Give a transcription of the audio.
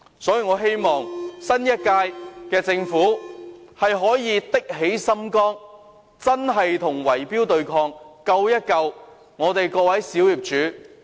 所以，我希望新一屆政府可以下定決心打擊圍標，救救各位小業主。